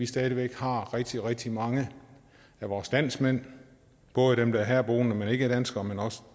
stadig væk rigtig rigtig mange af vores landsmænd både dem der er herboende men ikke er danskere men også